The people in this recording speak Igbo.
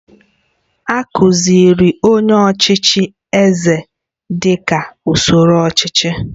A kụziiri anyị ọchịchị eze dị ka usoro ọchịchị